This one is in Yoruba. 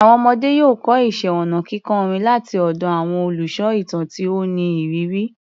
Àwọn ọmọdé yóò kọ́ iṣẹ́ ọnà kíkọ orin láti ọ̀dọ̀ àwọn olùsọ ìtàn tí ó ní ìrírí.